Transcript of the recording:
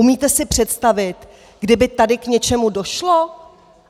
Umíte si představit, kdyby tady k něčemu došlo?